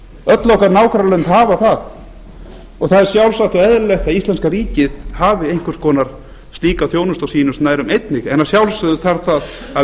öll okkar nágrannalönd hafa það það er sjálfsagt og eðlilegt að íslenska ríkið hafi einhvers konar slíka þjónustu á sínum snærum einnig en að sjálfsögðu þarf það að